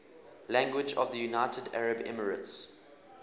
languages of the united arab emirates